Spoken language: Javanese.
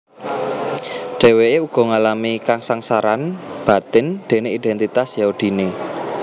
Dhèwèké uga ngalami kasangsaran batin déné idèntitas Yahudiné